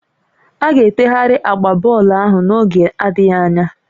A ga-etegharị agba bọọlụ ahụ n'oge adịghị anya